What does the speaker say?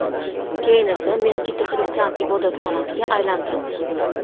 Keyin esa Meskita xristian ibodatxonasiga aylantirildi.